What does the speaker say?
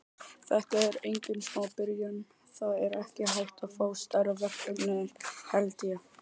Þetta er engin smá byrjun, það er ekki hægt að fá stærra verkefni held ég.